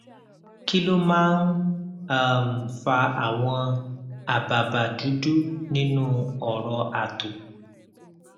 kí ló máa ń um fa àwọn àbàbà dudu nínú ọrọ ato